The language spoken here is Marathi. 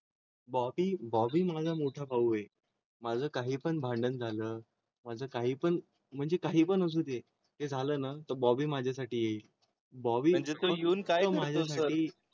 बॉबी बॉबी माझा मोठा भाऊ आहे माझं काही पण भांडण झालं माझं काही पण म्हणजे काही पण असू दे. ते झालं ना तर बॉबी माझ्यासाठी येईल बॉबी तो येऊन काय माझ्यासाठीं?